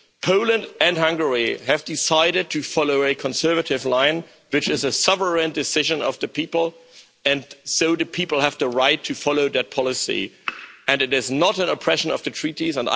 Poland and Hungary have decided to follow a conservative line, which is a sovereign decision of the people, and so do people have the right to follow that policy, and it is not an oppression of the treaties.